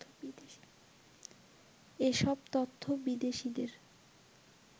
এসব তথ্য বিদেশীদের